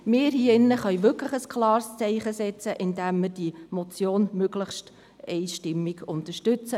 Wir in diesem Saal können ein klares Zeichen setzen, indem wir diese Motion möglichst einstimmig unterstützen.